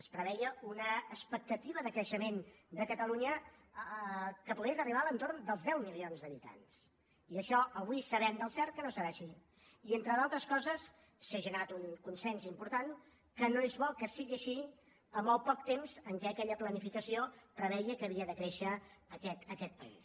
es preveia una expectativa de creixement de catalunya que pogués arribar a l’entorn dels deu milions d’habitants i això avui sabem del cert que no serà així i entre d’altres coses s’ha generat un consens important que no és bo que sigui així amb el poc temps amb què aquella planificació preveia que havia de créixer aquest país